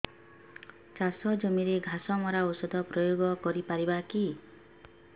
ଚାଷ ଜମିରେ ଘାସ ମରା ଔଷଧ ପ୍ରୟୋଗ କରି ପାରିବା କି